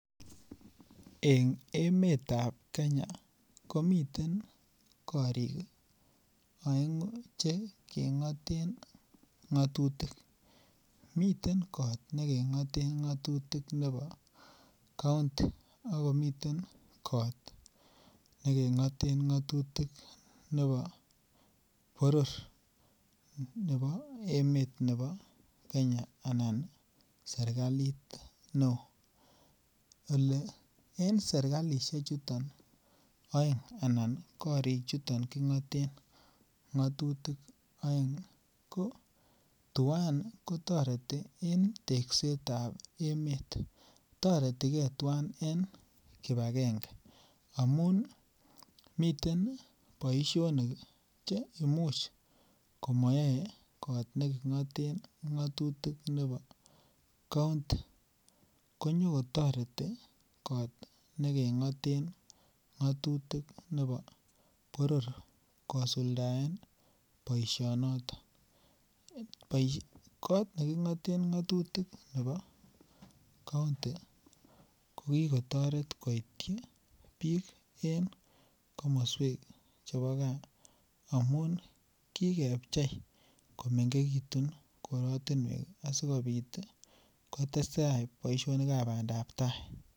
En temisiet nebo nganuk ko mite ortinwek Che keboisien keyoen boisinoto ak angoit kasarta nebo keges nganuk ko miten mashinisiekEn emetab Kenya ko miten korik aengu Che kengaten ngatutik miten kot nekengoten ngatutik nebo kaunti ako miten kot nekingoten ngatutik nebo boror nebo emet nebo Kenya Anan en serkalit neo en serkalisiek chuto oeng anan korichuto kingaten ngatutik oeng ko tuan ko toreti en teeksetab emet toretigeib tuan en kibagenge amun miten boisionik Che Imuch kimokeyoe kot nekingoten ngatutik nebo kaunti ko konyo kotoreti kot nekengoten ngatutik nebo boror kosuldaen boisionoto kot nekingoten ngatutik nebo kaunti ko ki kotoret koityi bik en komoswek chebo gaa amun kikebchei komengekitu korotinwek asikobit kotestai boisionik ab bandap tai Che keboisien kebut ak kekonor miten ne kekuren combined harvester ne kese nganuchoto ak koyochi boisiet tugul Kota koik nganuk Che tililen angamun kesei ak kokut chabuk Che tindoi nganuk yeityo ko konor en kit neibote asikobit konyo kinde mobugoik Che ki konoren minset nebo nganuk ketesentai en mbarenik Che echen kot mising Che imuch konyo koges mashinisiechuto angemin en mbarenik Che mengech ko yoche kesir bik Che kogese nganuchoto